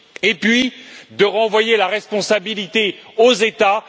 et puis, de renvoyer la responsabilité aux États.